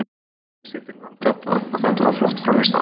Liðsheildin vann þetta og þetta var flott frammistaða.